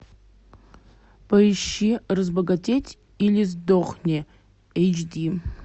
поищи разбогатеть или сдохни эйч ди